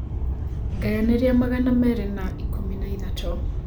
ngayanĩa magana merĩ na ĩkũmi na ĩthatũ